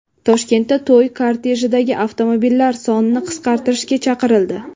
Toshkentda to‘y kortejidagi avtomobillar sonini qisqartirishga chaqirildi.